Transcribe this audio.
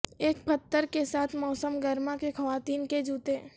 ایک پتھر کے ساتھ موسم گرما کے خواتین کے جوتے